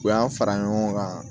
U y'an fara ɲɔgɔn kan